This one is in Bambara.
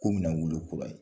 Ko bɛna wolo kura ye